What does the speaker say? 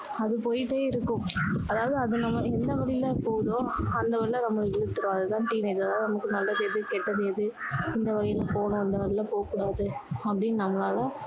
அது போயிட்டே இருக்கும் அதாவது அது நம்ம என்ன வழியில போகுதோ அந்த வழியில நம்ம இருக்கிறது அது தான் teenage அதாவது நமக்கு நல்லது எது கெட்டது எது எந்த வழியில போகணும் எந்த வழியில போக் கூடாது அப்படின்னு நம்மளால